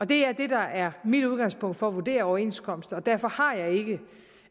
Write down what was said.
det er det der er mit udgangspunkt for at vurdere overenskomster og derfor har